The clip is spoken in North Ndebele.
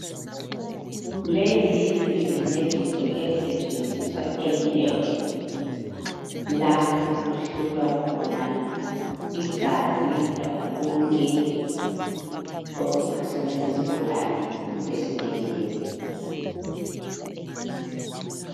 Lezi yizincediso ezisetshenziswa elab lapho okuhlolwa khona igazi lakho konke okuphathisane lesigulane esibhedlela.